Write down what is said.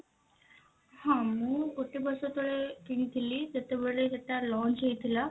ହଁ ମୁଁ ଗୋଟେ ବର୍ଷ ତଳେ କିଣିଥିଲି ଯେତେବେଳେ ସେଟା lunch ହେଇଥିଲା